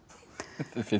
fyndin